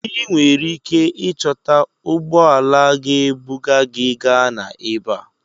I nwere ike ịchọta ụgbọ ala ga-ebuga gị Ghana ebe a.